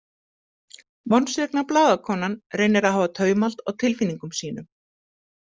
Vonsvikna blaðakonan reynir að hafa taumhald á tilfinningum sínum.